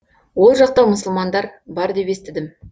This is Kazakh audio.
ол жақта мұсылмандар бар деп естідім